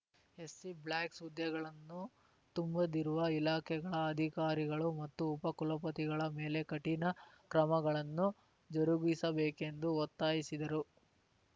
ST black ಹುದ್ದೆಗಳನ್ನು ತುಂಬದಿರುವ ಇಲಾಖೆಗಳ ಅಧಿಕಾರಿಗಳು ಮತ್ತು ಉಪ ಕುಲಪತಿಗಳ ಮೇಲೆ ಕಠಿಣ ಕ್ರಮಗಳನ್ನು ಜರುಗಿಸಬೇಕೆಂದು ಒತ್ತಾಯಿಸಿದರು